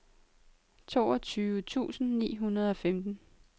otteogtyve tusind ni hundrede og femten